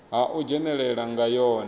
ha u dzhenelela nga yone